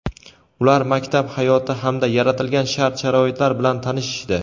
ular maktab hayoti hamda yaratilgan shart-sharoitlar bilan tanishishdi.